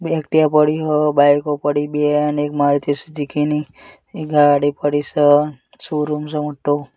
બે એક્ટિવા પડી હે બાઈકો પડી બે અને એક મારુતિ સુઝુકી ની ગાડી પડી સ શોરૂમ સે મોટ્ટુ.